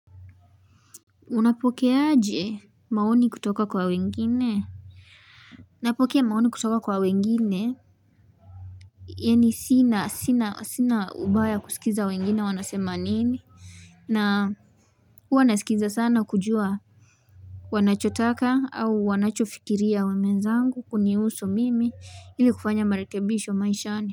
Unapokeaaje maoni kutoka kwa wengine? Napokea maoni kutoka kwa wengine Yaani sina, sina, sina ubaya wa kusikiza wengine wanasema nini? Na huwa nasikiza sana kujua wanachotaka au wanachofikiria wenzangu kunihusu mimi ili kufanya marekebisho maishani.